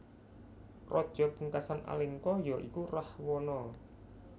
Raja pungkasan Alengka ya iku Rahwana